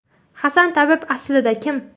Hasan tabib aslida kim?